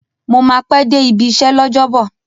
Mo máa pẹ́ dé ibi iṣẹ́ l'ọ́jọ́bọ̀